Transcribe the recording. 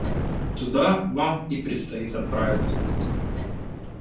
туда вам и предстоит отправиться